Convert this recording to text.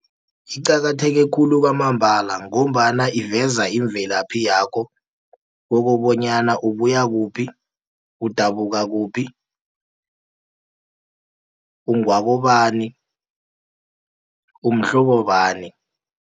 Iqakatheke khulu kwamambala, ngombana iveza imvelaphi yakho, kokobonyana ubuya kuphi, udabuka kuphi, ungewakobani, umhlobo bani.